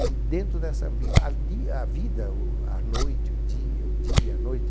E dentro dessa ambiva ardia, a vida, o a noite, o dia, o dia e a noite.